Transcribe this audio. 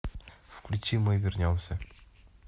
включи мы вернемся